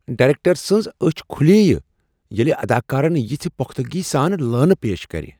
Director scenes أچھ کھلیے ییلہٕ اداکارن یژھہٕ پختگی سان لٲینہٕ پیش کرِ۔